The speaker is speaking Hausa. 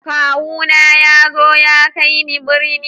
Kawu na ya zo ya kai ni birni.